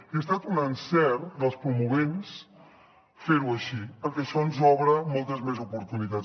i ha estat un encert dels promotors fer ho així perquè això ens obre moltes més oportunitats